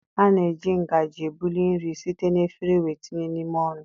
A na-eji ngaji ebuli nri site na efere wéé tinye n'ime ọnụ.